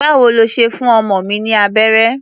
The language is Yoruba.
Báwo lo ṣe fún ọmọ mi ní abẹ́rẹ́?